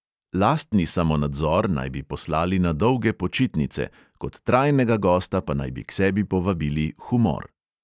Lastni samonadzor naj bi poslali na dolge počitnice, kot trajnega gosta pa naj bi k sebi povabili humor.